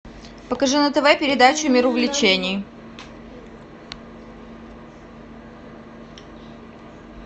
покажи на тв передачу мир увлечений